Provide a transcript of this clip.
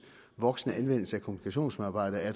voksende anvendelse af kommunikationsmedarbejdere at